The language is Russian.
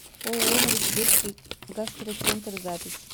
ооо новосибирский гастроцентр запись